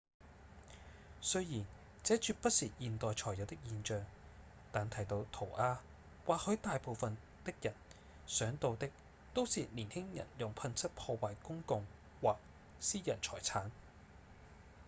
雖然這絕不是現代才有的現象但提到塗鴉或許大部分的人想到的都是年輕人用噴漆破壞公共或私人財產